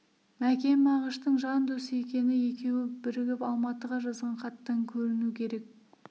мәкен мағыштың жан досы екені екеуі бірігіп алматыға жазған хаттан көріну керек